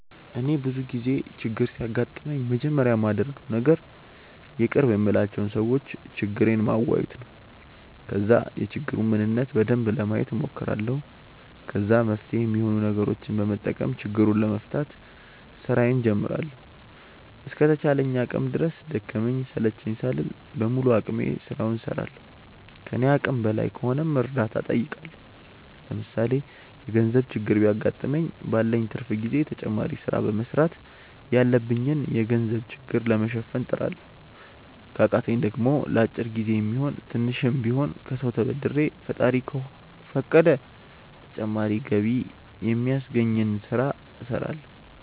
እኔ ብዙ ጊዜ ችግር ሲያጋጥመኝ መጀመሪያ ማደርገው ነገር የቅርብ የምላቸው ሰዎች ችግሬን ማዋየት ነው። ከዛ የችግሩን ምንነት በደንብ ለማየት ሞክራለሁ። ከዛ መፍትሄ ሚሆኑ ነገሮችን በመጠቀም ችግሩን ለመፍታት ስራዬን ጀምራለሁ። እስከ ተቻለኝ አቅም ድረስ ደከመኝ ሰለቸኝ ሳልል በሙሉ አቅሜ ስራውን እስራለሁ። ከኔ አቅም በላይ ከሆነም እርዳታ ጠይቃለሁ። ለምሳሌ የገርዘብ ችግር ቢያገጥመኝ ባለኝ ትርፍ ጊዜ ተጨማሪ ስራ በመስራት ያለብኝን የገንዘብ ችግር ለመሸፈን እጥራለሁ። ከቃተኝ ደሞ ለአጭር ጊዜ የሚሆን ስሽም ቢሆን ከሰው ተበድሬ ፈጣሪ ከፈቀደ ተጨማሪ ገቢ ሚያስገኘኝን ስለ እስራለሁ።